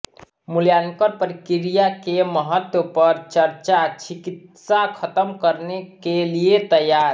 मूल्यांकन प्रक्रिया के महत्त्व पर चर्चा छिकित्सा खत्म करने के लिए तैयार